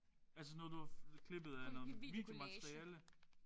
Altså noget du har klippet af noget videomateriale?